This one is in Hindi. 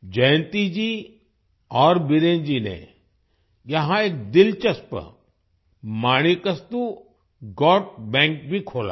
जयंती जी और बीरेन जी ने यहाँ एक दिलचस्प माणिकास्तु गोट बैंक भी खोला है